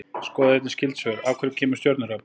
Skoðið einnig skyld svör: Af hverju kemur stjörnuhrap?